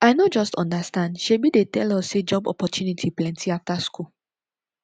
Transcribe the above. i no just understand shebi dey tell us say job opportunity plenty after school